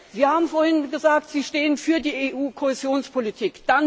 Sie haben vorhin gesagt, Sie stehen für die EU Kohäsionspolitik.